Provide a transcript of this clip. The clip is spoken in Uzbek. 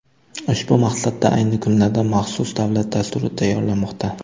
Ushbu maqsadda ayni kunlarda maxsus davlat dasturi tayyorlanmoqda.